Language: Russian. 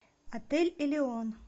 отель элеон